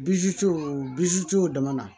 dama na